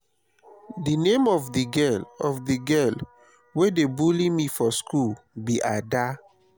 the name of the girl of the girl wey dey bully me for school be ada